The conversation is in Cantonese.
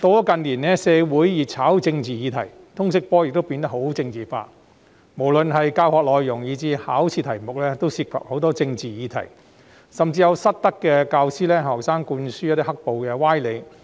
近年社會熱炒政治議題，通識科亦變得政治化，不論教學內容或考試題目均涉及政治議題，甚至有失德教師向學生灌輸"黑暴"歪理。